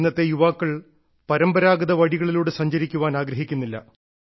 ഇന്നത്തെ യുവാക്കൾ പരമ്പരാഗത വഴികളിലൂടെ സഞ്ചരിക്കാൻ ആഗ്രഹിക്കുന്നില്ല